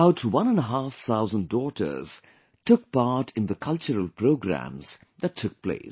About one and a half thousand daughters took part in the cultural programs that took place